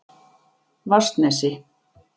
Vatnsnesi